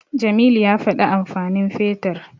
Jamilu ya faɗi amfanin Fetur.